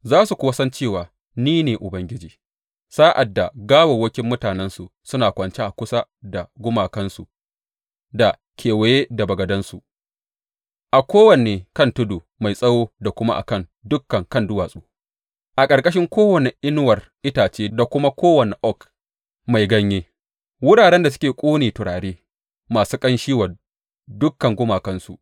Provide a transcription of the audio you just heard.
Za su kuwa san cewa ni ne Ubangiji, sa’ad da gawawwakin mutanensu suna kwance a kusa da gumakansu da kewaye da bagadansu, a kowane kan tudu mai tsawo da kuma a kan dukan kan duwatsu, a ƙarƙashin kowane inuwar itace da kuma kowane oak mai ganye, wuraren da suke ƙone turare masu ƙanshi wa dukan gumakansu.